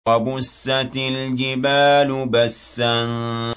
وَبُسَّتِ الْجِبَالُ بَسًّا